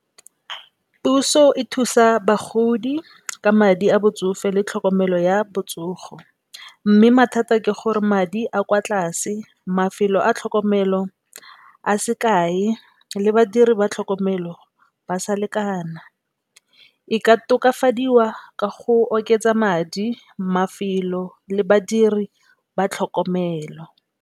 Puso e thusa bagodi ka madi a botsofe le tlhokomelo ya botsogo. Mme, mathata ke gore madi a kwa tlase, mafelo a tlhokomelo a se kae le badiri ba tlhokomelo ba sa lekana e ka tokafadiwa ka go oketsa madi, mafelo le badiri ba tlhokomelo.